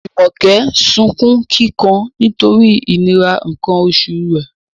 Jumoke sunkún kíkan nítorí ìnira nǹkan oṣù rẹ̀